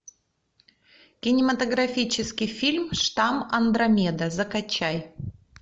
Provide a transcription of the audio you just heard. кинематографический фильм штамм андромеда закачай